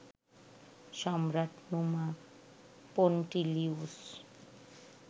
Samrat Numa Pompilius